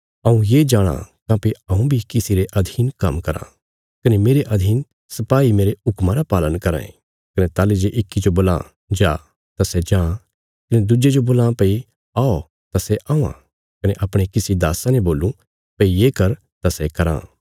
हऊँ ये जाणाँ काँह्भई हऊँ बी किसी रे अधीन काम्म कराँ कने मेरे अधीन सिपाई मेरे हुक्मा रा पालन कराँ ये कने ताहली जे इक्की जो बोलां जा तां सै जां कने दुज्जे जो बोलां भई औ तां सै औआं कने अपणे किसी दास्सा ने बोलूं भई ये कर तां सै तिस्सो कराँ